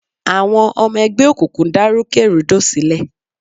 Àwọn ọmọ ẹgbẹ́ òkùnkùn dá rúkè rúdò sílẹ̀.